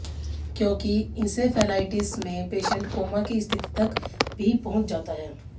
क्योंकि इंसेफेलाइटिस में patient coma की स्थिति तक भी पहुंच जाता है